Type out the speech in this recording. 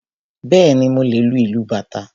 Bẹ́ẹ̀ni, mo lè lu ìlú bàtá